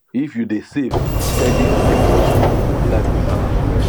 if you dey save steady steady your money life go balance well